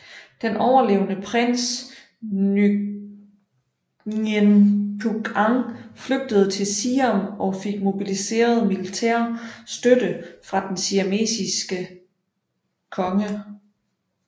Den overlevende prins Nguyễn Phúc Anh flygtede til Siam og fik mobiliseret militær støtte fra den siamesiske konge